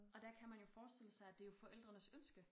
Og der kan man jo forestille sig at det jo forældrenes ønske